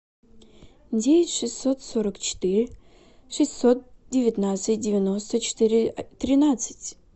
девять шестьсот сорок четыре шестьсот девятнадцать девяносто четыре тринадцать